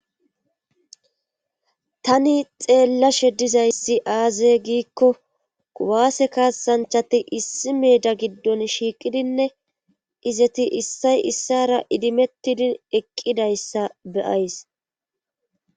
tani xeellashe dizayssi aaze giikko kuwaase kaasanchati issi meeda giddon shiiqidinne izeti issay issara idimettidi eqqidayssa beyays.